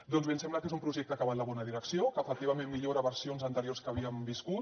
doncs bé ens sembla que és un projecte que va en la bona direcció que efectivament millora versions anteriors que havíem viscut